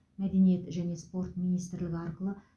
мәдениет және спорт министрлігі арқылы